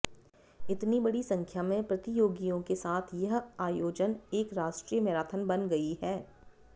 इतनी बड़ी संख्या में प्रतियोगियों के साथ यह आयोजन एक राष्ट्रीय मैराथन बन गई है